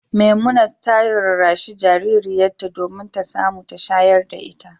Memunat ta rarrashi jaririyarta domin ta samu ta shayar da ita.